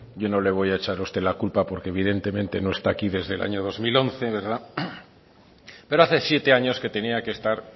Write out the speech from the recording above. yo no le voy a echar a usted la culpa porque evidentemente no está aquí desde el año dos mil once verdad pero hace siete años que tenía que estar